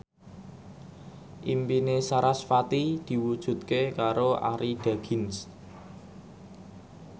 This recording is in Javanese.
impine sarasvati diwujudke karo Arie Daginks